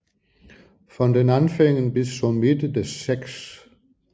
Von den Anfängen bis zur Mitte des 6